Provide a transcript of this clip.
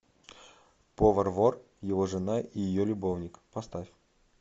повар вор его жена и ее любовник поставь